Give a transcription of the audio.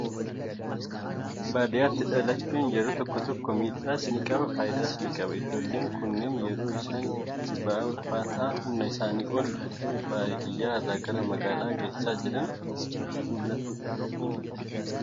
Baadiyyaatti dhalachuun yeroo tokko tokko miidhaas ni qabaa, fayidaas ni qabaata. Ijoollee kunneen yeroo isaan itti ba'aa ulfaataa humna isaanii ol ta'e baadiyyaa irraa gara magaalaa geessaa jiran ni mul'atu.